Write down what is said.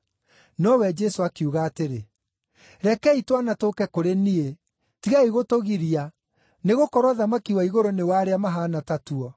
Nowe Jesũ akiuga atĩrĩ, “Rekei twana tũũke kũrĩ niĩ, tigai gũtũgiria, nĩgũkorwo ũthamaki wa Igũrũ nĩ wa arĩa mahaana ta tuo.”